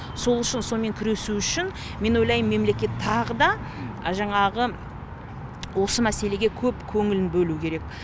сол үшін сомен күресу үшін мен ойлаймын мемлекет тағы да жаңағы осы мәселеге көп көңілін бөлуі керек